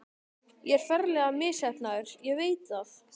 Ég er ferlega misheppnaður, ég veit það.